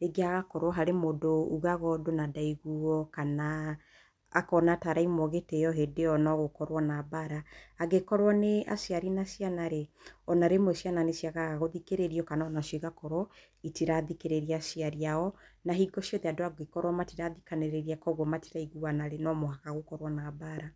rĩngĩ hagakorwo harĩ mũndũ ugaga ũndũ na ndaiguo kana akona ta araimwo gitĩyo hĩndĩ ĩyo no gũkorwo na mbara. Angĩkorwo nĩ aciari na ciana rĩ, ona rĩmwe ciana nĩciagaga gũthikĩrĩrio kana o nacio igakorwo citirathikĩrĩria aciari a o na hingo ciothe andũ angĩkorwo matirathikanĩrĩria koguo matiraiguana rĩ no mũhaka gũkorwo na mbara.